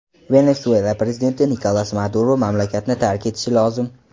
Venesuela prezidenti Nikolas Maduro mamlakatni tark etishi lozim.